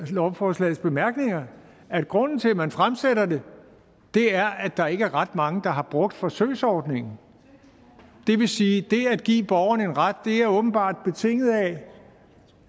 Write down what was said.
lovforslagets bemærkninger at grunden til at man fremsætter det er at der ikke er ret mange der har brugt forsøgsordningen det vil sige at det at give borgerne en ret åbenbart